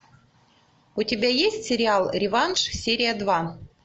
у тебя есть сериал реванш серия два